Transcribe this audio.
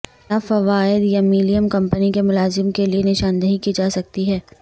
کیا فوائد یمیلیم کمپنی کے ملازمین کے لئے نشاندہی کی جا سکتی ہے